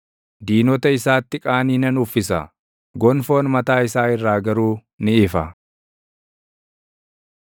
Diinota isaatti qaanii nan uffisa; gonfoon mataa isaa irraa garuu ni ifa.”